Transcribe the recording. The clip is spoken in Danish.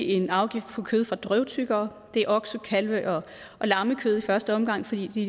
en afgift på kød fra drøvtyggere det er okse kalve og lammekød i første omgang fordi de